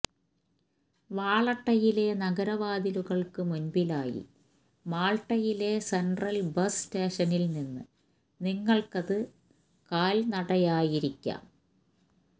വാളട്ടയിലെ നഗരവാതിലുകൾക്ക് മുൻപിലായി മാൾട്ടയിലെ സെൻട്രൽ ബസ് സ്റ്റേഷനിൽ നിന്ന് നിങ്ങൾക്കത് കാൽനടയായിരിക്കാം